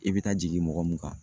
I bɛ taa jigin mɔgɔ mun kan.